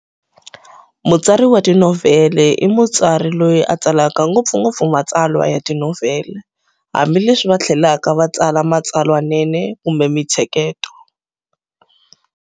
Mutsari wa tinovhele i mutsari loyi a tsalaka ngopfungopfu matsalwa ya tinovhele, hambileswi vathlelaka va tsala matsalwanene kumbe minthseketo.